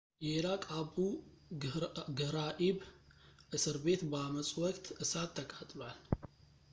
የኢራቅ አቡ ግህራኢብ እስር ቤት በአመጹ ወቅት እሳት ተቃጥሏል